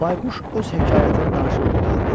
Bayquş öz hekayətini danışıb qurtardı.